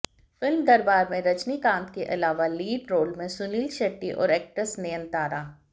film Darbar में रजनीकांत के अलावा लीड रोल में हैं सुनील शेट्टी और एक्ट्रेस नयनतारा